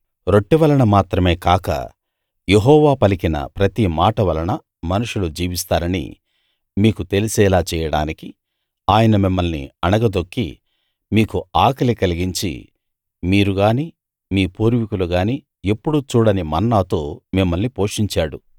రొట్టె వలన మాత్రమే కాక యెహోవా పలికిన ప్రతి మాట వలన మనుషులు జీవిస్తారని మీకు తెలిసేలా చేయడానికి ఆయన మిమ్మల్ని అణగదొక్కి మీకు ఆకలి కలిగించి మీరు గాని మీ పూర్వీకులు గాని ఎప్పుడూ చూడని మన్నాతో మిమ్మల్ని పోషించాడు